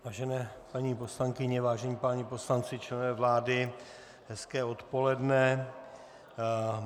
Vážené paní poslankyně, vážení páni poslanci, členové vlády, hezké odpoledne.